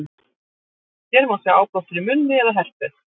hér má sjá áblástur í munni eða herpes